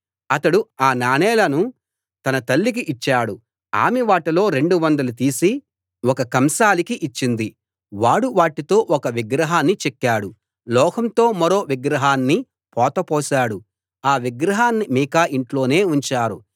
అతడు ఆ నాణేలను తన తల్లికి ఇచ్చాడు ఆమె వాటిలో రెండు వందలు తీసి ఒక కంసాలికి ఇచ్చింది వాడు వాటితో ఒక విగ్రహాన్ని చెక్కాడు లోహంతో మరో విగ్రహాన్ని పోత పోశాడు ఆ విగ్రహాన్ని మీకా ఇంట్లోనే ఉంచారు